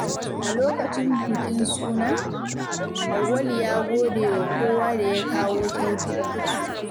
A lokacin bukin suna, Auwalu ya gode wa kowa da ya kawo kyaututtuka.